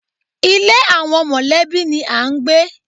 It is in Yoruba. Ilé àwọn mọ̀lẹ́bí ni à ń gbé.